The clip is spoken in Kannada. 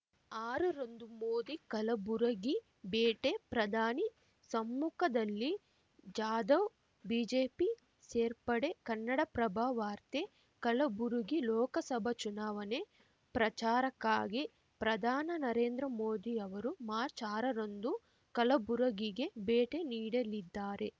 ಆರ ರಂದು ಮೋದಿ ಕಲಬುರಗಿ ಭೇಟೆ ಪ್ರಧಾನಿ ಸಮ್ಮುಖದಲ್ಲಿ ಜಾಧವ್‌ ಬಿಜೆಪಿ ಸೇರ್ಪಡೆ ಕನ್ನಡಪ್ರಭ ವಾರ್ತೆ ಕಲಬುರಗಿ ಲೋಕಸಭಾ ಚುನಾವಣೆ ಪ್ರಚಾರಕ್ಕಾಗಿ ಪ್ರಧಾನ ನರೇಂದ್ರ ಮೋದಿ ಅವರು ಮಾರ್ಚ್ಆರ ರಂದು ಕಲಬುರಗಿಗೆ ಭೇಟೆ ನೀಡಲಿದ್ದಾರೆ